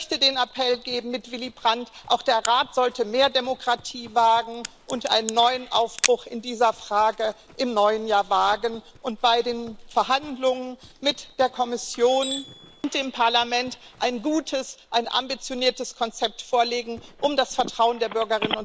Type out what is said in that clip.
Ich möchte den Appell geben mit Willy Brandt Auch der Rat sollte mehr Demokratie und einen neuen Aufbruch in dieser Frage im neuen Jahr wagen und bei den Verhandlungen mit der Kommission und dem Parlament ein gutes, ein ambitioniertes, Konzept vorlegen, um das Vertrauen der Bürgerinnen und Bürger